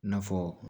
I n'a fɔ